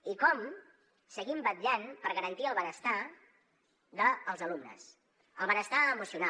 i com seguim vetllant per garantir el benestar dels alumnes el benestar emocional